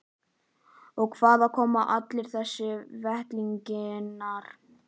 Og hvaðan koma allir þessir vettlingar?